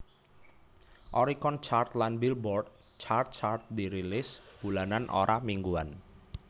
Oricon Chart lan Billboard Chart chart dirilis bulanan ora mingguan